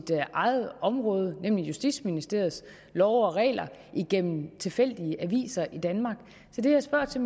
eget område nemlig justitsministeriets love og regler igennem tilfældige aviser i danmark så det jeg spørger til